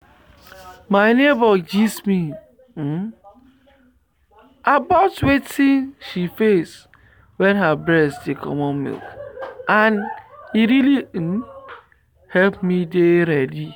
my neighbor gist me about wetin she face wen her breast dey comot milk and e really um help me dey ready.